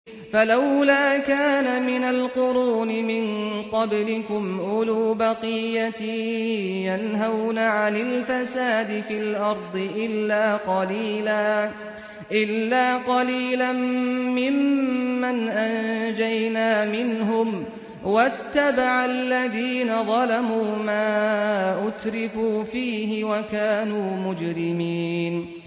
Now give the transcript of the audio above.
فَلَوْلَا كَانَ مِنَ الْقُرُونِ مِن قَبْلِكُمْ أُولُو بَقِيَّةٍ يَنْهَوْنَ عَنِ الْفَسَادِ فِي الْأَرْضِ إِلَّا قَلِيلًا مِّمَّنْ أَنجَيْنَا مِنْهُمْ ۗ وَاتَّبَعَ الَّذِينَ ظَلَمُوا مَا أُتْرِفُوا فِيهِ وَكَانُوا مُجْرِمِينَ